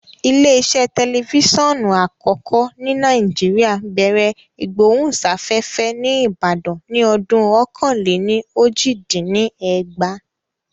Ilé iṣẹ́ tẹlifíṣọ̀n àkọ́kọ́ ní Nàìjíríà bẹ̀rẹ̀ ìgbóhùnsáfẹ́fẹ́ ní Ìbàdàn ní ọdún ọ̀kan-lé-ní-ojì dín ní ẹgbàá